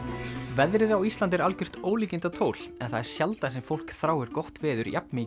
veðrið á Íslandi er algjört ólíkindatól en það er sjaldan sem fólk þráir gott veður jafn mikið